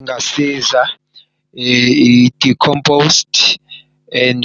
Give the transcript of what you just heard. Kungasiza i-decompost and